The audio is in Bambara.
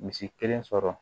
Misi kelen sɔrɔ